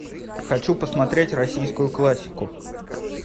хочу посмотреть российскую классику